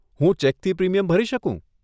હું ચેકથી પ્રીમિયમ ભરી શકું?